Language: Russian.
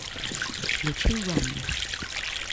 включи ямми